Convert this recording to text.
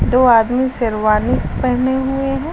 दो आदमी सेरवानी पहने हुए हैं।